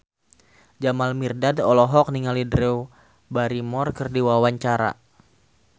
Jamal Mirdad olohok ningali Drew Barrymore keur diwawancara